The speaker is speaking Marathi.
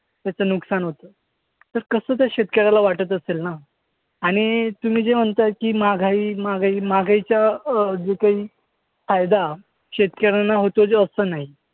त्याचं नुकसान होतं. तर कसं त्या शेतकर्‍याला वाटत असेल ना? आणि तुम्ही जे म्हणताय की, महागाई महागाई महागाईचा अं जो काही फायदा शेतकर्‍यांना होतोच असं नाही.